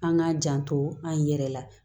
An k'a janto an yɛrɛ la